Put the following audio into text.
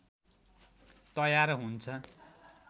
तयार हुन्छ